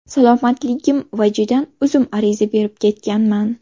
Salomatligim vajidan, o‘zim ariza berib ketganman.